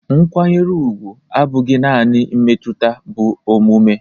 Nkwanyere ugwu abụghị naanị mmetụta bụ omume